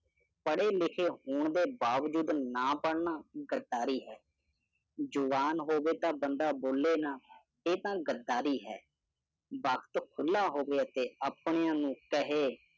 ਪੜੇ ਲਿਖੇ ਹੋਣ ਦੇ ਬਾਵਜੂਦ ਨਾਂ ਪੜਨਾ, ਗੱਦਾਰੀ ਹੈ। ਜੁੂਬਾਨ ਹੋਵੇ ਤਾਂ ਬੰਦਾ ਬੋਲੇ ਨਾ, ਇਹ ਤਾ ਗੱਦਾਰੀ ਹੈ। ਵਕਤ ਖੁੱਲਾ ਹੋਵੇ ਤੇ ਆਪਣਿਆਂ ਨੂੰ ਕਹੇ